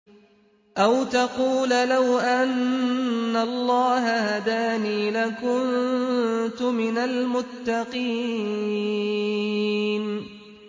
أَوْ تَقُولَ لَوْ أَنَّ اللَّهَ هَدَانِي لَكُنتُ مِنَ الْمُتَّقِينَ